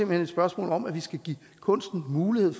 hen et spørgsmål om at vi skal give kunsten mulighed